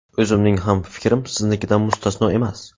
O‘zimning ham fikrim siznikidan mustasno emas.